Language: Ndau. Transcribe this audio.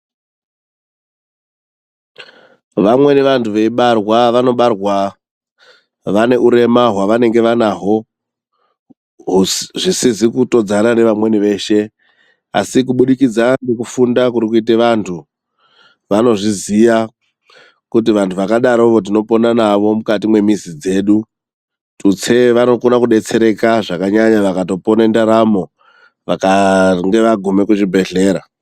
Vamweni vantu veibarwa vanobarwa vane hurema hwavanenge vanaho zvisizvi kutodzana ngevamweni vese asi kubudikidza ngekufunda kuri kuita vandu vanozviziva kuti vantu vakadaro tinopona nawo mukati wemizi dzedu, tutse, vanokona kudetsereka zvakanyanya vakatopona, vakange vaguma kuzvibhedhlera.